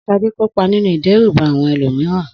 Sade kópa nínú ìdẹ́rùbà àwọn ẹlòmíràn.